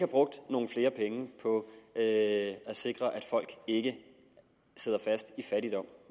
brugt nogle flere penge på at sikre at folk ikke sidder fast i fattigdom